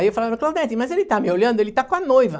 Aí eu falava, Claudete, mas ele está me olhando, ele está com a noiva.